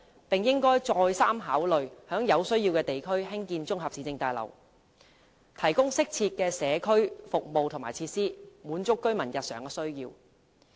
當局應再三考慮在有需要地區興建綜合市政大樓，提供適切的社區服務和設施，滿足居民日常需要。